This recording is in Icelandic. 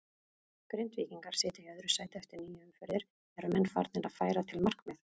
Grindvíkingar sitja í öðru sæti eftir níu umferðir, eru menn farnir að færa til markmið?